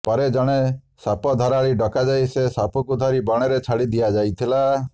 ପରେ ଜଣେ ସାପଧରାଳି ଡକାଯାଇ ସେ ସାପକୁ ଧରି ବଣରେ ଛାଡ଼ି ଦିଆଯାଇଥିଲା